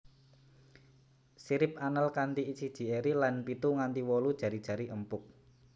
Sirip anal kanthi siji eri lan pitu nganti wolu jari jari empuk